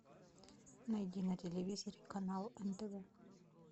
найди на телевизоре канал нтв